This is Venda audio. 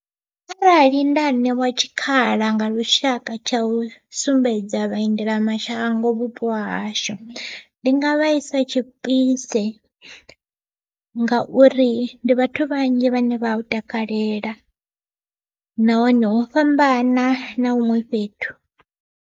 Arali nda ṋewa tshikhala nga lushaka tsha u sumbedza vhaendela mashango vhupo hahashu, ndi nga vha isa tshipise ngauri ndi vhathu vhanzhi vhane vha hu takalela nahone ho fhambana na huṅwe fhethu.